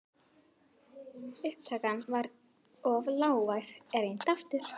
Faðir minn fór til